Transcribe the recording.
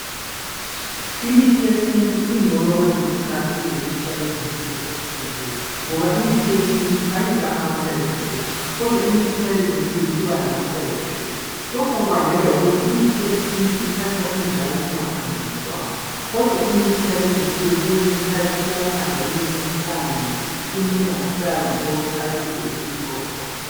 Imithi yesintu ingcono kwezinye izikhathi kulemithi yalezinsuku ephucukileyo ngoba imithi yesintu ayila amaside effects kodwa imithi yalezinsuku iba lamaside effects. Lokhu kubangelwa yikuthi imithi yesintu ithathwa injalo ingaphanjaniswanga kodwa imithi yalezinsuku kwezinyizikhathi iyaphanjaniswa ihlanganiswe icine ingasabi yilokhu ekadi vele iyikho khona.